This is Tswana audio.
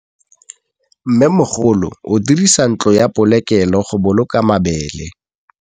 Mmêmogolô o dirisa ntlo ya polokêlô, go boloka mabele.